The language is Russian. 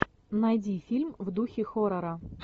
найди фильм в духе хоррора